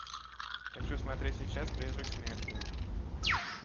хочу смотреть сейчас призрак смерти